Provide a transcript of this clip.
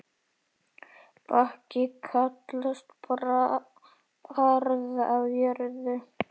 Bakki kallast barð á jörð.